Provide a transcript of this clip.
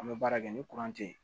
An bɛ baara kɛ ni kuran tɛ yen